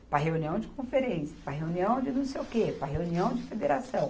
para a reunião de conferência, para a reunião de não sei o quê, para a reunião de federação.